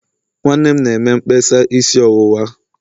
nwanne m na-eme mkpesa isi ọwụwa.